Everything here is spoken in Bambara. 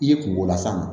I ye kungo las'a ma